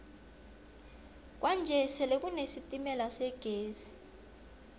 kwanje sele kune sitemala segezi